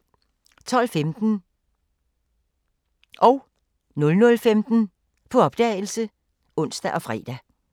12:15: På opdagelse (ons og fre) 00:15: På opdagelse (ons og fre)